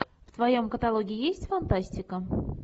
в твоем каталоге есть фантастика